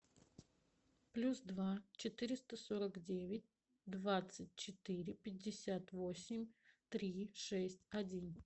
плюс два четыреста сорок девять двадцать четыре пятьдесят восемь три шесть один